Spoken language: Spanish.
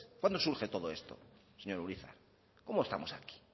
cuándo surge todo esto señor urizar cómo estamos aquí